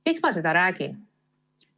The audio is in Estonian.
Miks ma seda räägin?